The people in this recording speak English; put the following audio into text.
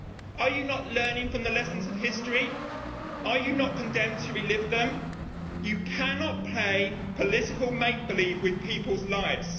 Are you not learning from the lessons of history? Are you not condemned to relive them? You cannot play political make believe with people's lives.